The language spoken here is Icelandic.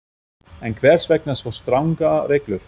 En hvers vegna svo strangar reglur?